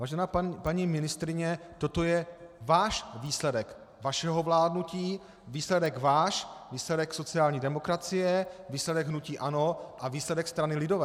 Vážená paní ministryně, toto je váš výsledek, vašeho vládnutí, výsledek váš, výsledek sociální demokracie, výsledek hnutí ANO a výsledek strany lidové.